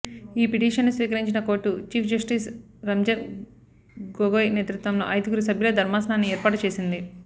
ఈ పిటిషన్ను స్వీకరించిన court chief justice Ranjan Gogoi నేతృత్వంలో ఐదుగురు సభ్యుల ధర్మాసనాన్ని ఏర్పాటు చేసింది